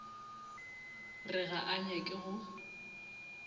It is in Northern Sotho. re ga a nyake go